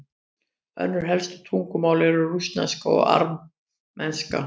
önnur helstu tungumál eru rússneska og armenska